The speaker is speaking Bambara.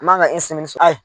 N man ka sɔrɔ